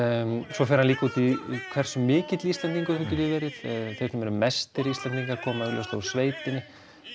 svo fer hann líka út í hversu mikill Íslendingur þú getur verið þeir sem eru mestir Íslendingar koma augljóslega úr sveitinni